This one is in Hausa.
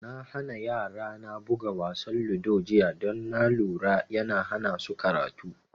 Na hana yara na buga wasa ludo jiya don na lura yana hana su karatu